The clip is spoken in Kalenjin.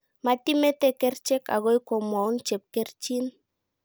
Matimetee kerchek agoi komwaun chepkerichiin